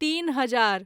तीन हजार